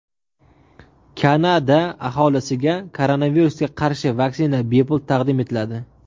Kanada aholisiga koronavirusga qarshi vaksina bepul taqdim etiladi.